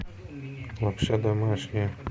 лапша домашняя